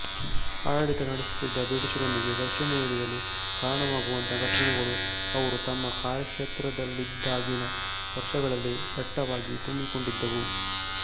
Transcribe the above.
ಆಡಳಿತ ನಡೆಸುತ್ತಿದ್ದ ಬ್ರಿಟಿಷರೊಂದಿಗೆ ಘರ್ಷಣೆಗೆ ಇಳಿಯಲು ಕಾರಣವಾಗುವಂಥ ಘಟನೆಗಳು ಅವರು ತಮ್ಮ ಕಾರ್ಯಕ್ಷೇತ್ರದಲ್ಲಿದ್ದಾಗಿನ ವರ್ಷಗಳಲ್ಲಿ ದಟ್ಟವಾಗಿ ತುಂಬಿಕೊಂಡಿದ್ದವು